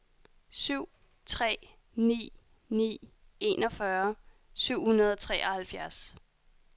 syv tre ni ni enogfyrre syv hundrede og treoghalvfjerds